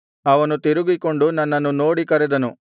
ಅವನು ತಿರುಗಿಕೊಂಡು ನನ್ನನ್ನು ನೋಡಿ ಕರೆದನು